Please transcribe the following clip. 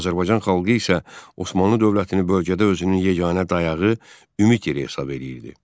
Azərbaycan xalqı isə Osmanlı dövlətini bölgədə özünün yeganə dayağı, ümid yeri hesab edirdi.